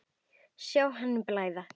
Sjá henni blæða.